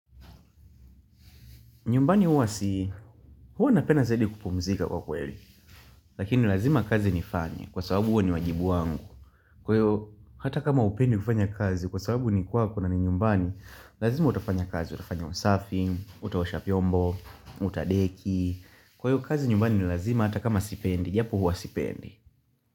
Nyumbani huwa si, huwa napenda zaidi kupumzika kwa kweli, lakini lazima kazi nifanye, kwa sababu huo ni wajibu wangu. Kwa hivyo, hata kama hupendi kufanya kazi, kwa sababu ni kwako na ni nyumbani, lazima utafanya kazi, utafanya usafi, utaosha vyombo, utadeki. Kwa hiyo, kazi nyumbani ni lazima hata kama sipendi, japo huwa sipendi.